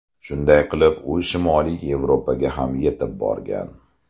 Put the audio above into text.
Shunday qilib u shimoliy Yevropaga ham etib borgan.